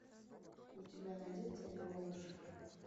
у тебя найдется лиловый шар